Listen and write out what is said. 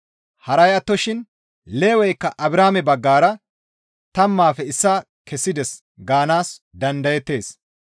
Haray attoshin Leweykka Abrahaame baggara tammaafe issaa kessides gaanaas dandayettees.